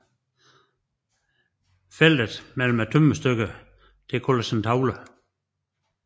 Feltet mellem tømmerstykkerne kaldes en tavle